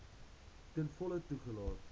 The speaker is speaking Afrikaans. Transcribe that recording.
ten volle toegelaat